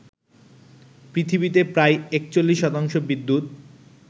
পৃথিবীতে প্রায় ৪১ শতাংশ বিদ্যুত